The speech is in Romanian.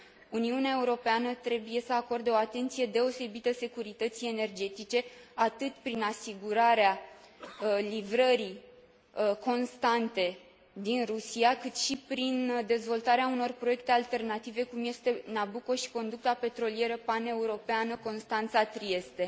Uniunea Europeană trebuie să acorde o atenție deosebită securității energetice, atât prin asigurarea livrării constante din Rusia, cât și prin dezvoltarea unor proiecte alternative cum este Nabucco și conducta petrolieră paneuropeană Constanța Trieste.